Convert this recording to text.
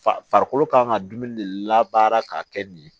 Fa farikolo kan ka dumuni de labaara ka kɛ nin ye